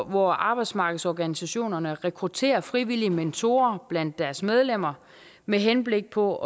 hvor arbejdsmarkedsorganisationerne rekrutterer frivillige mentorer blandt deres medlemmer med henblik på